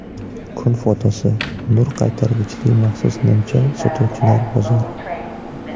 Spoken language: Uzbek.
Kun fotosi: Nur qaytargichli maxsus nimcha sotuvchilar bozori.